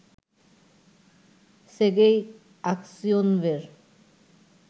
Sergei আকসিওনভের